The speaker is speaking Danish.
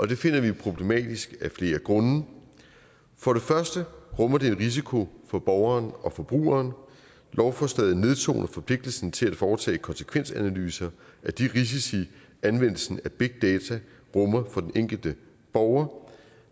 det finder vi problematisk af flere grunde for det første rummer det en risiko for borgeren og forbrugeren lovforslaget nedtoner forpligtelsen til at foretage konsekvensanalyser af de risici anvendelsen af big data rummer for den enkelte borger